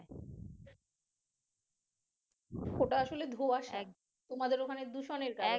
ওটা আসলে ধোঁয়াশা তোমাদের ওখানে দূষণের কারণে